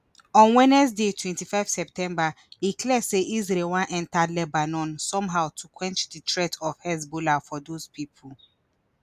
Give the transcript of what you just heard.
on wednesday twenty-five september e clear say isreal wan enta lebanon somehow to quench di threat of hezbollah for those pipo